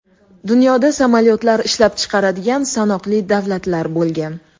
Dunyoda samolyotlar ishlab chiqaradigan sanoqli davlatlar bo‘lgan.